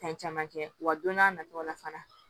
Fɛn caman kɛ wa don n'a nataw la fana